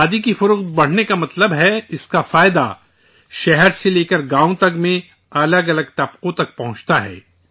کھادی کی فروخت بڑھنے کا مطلب ہے اس کا فائدہ شہر سے لے کر گاؤں تک میں الگ الگ طبقوں تک پہنچتا ہے